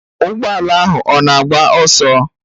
Ụgbọ ala ahụ ọ na-agba ọsọ?